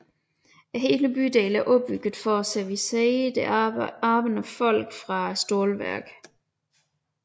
Hele bydelen er opbygget for at servicere det arbejdende folk fra stålværket